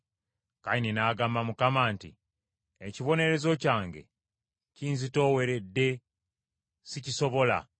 Kayini n’agamba Mukama nti, “Ekibonerezo kyange kinzitooweredde sikisobola.